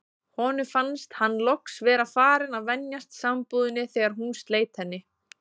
Honum fannst hann loks vera farinn að venjast sambúðinni þegar hún sleit henni.